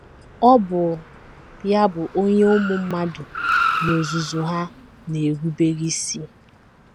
Ọ bụ ya bụ onye ụmụ mmadụ n’ozuzu ha na - erubere isi.